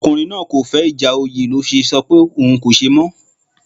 Ọkùnrin náà kò fẹ́ ìjà oyè ló fẹ sọ pé òun kò ṣe mọ́